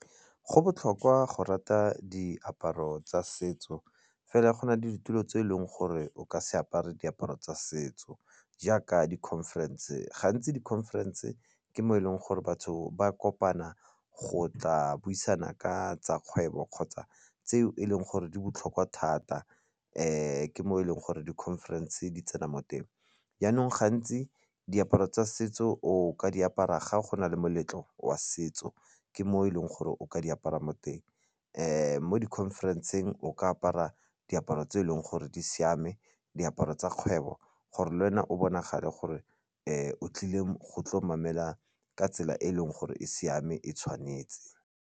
Go botlhokwa go rata diaparo tsa setso fela go na le ditulo tse e leng gore o ka se apare diaparo tsa setso jaaka di-conference gantsi di-conference ke mo e leng gore batho ba kopana go tla buisana ka tsa kgwebo kgotsa tseo e leng gore di botlhokwa thata ke mo e leng gore di-conference di tsena mo teng. Jaanong gantsi diaparo tsa setso o ka di apara ga gona le moletlo wa setso ke mo e leng gore o ka di apara mo teng mo di-conference-eng o ka apara diaparo tse e leng gore di siame, diaparo tsa kgwebo gore le wena o bonagale gore o tlile go tlo mamela ka tsela e e leng gore e siame e tshwanetse.